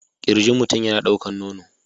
Kirjin mutum yana ɗaukar nono